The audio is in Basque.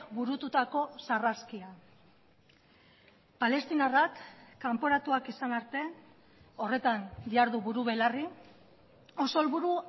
burututako sarraskia palestinarrak kanporatuak izan arte horretan jardu buru belarri oso helburu